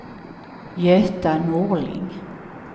Göta Norling